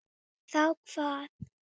Munum svo að nota svuntu.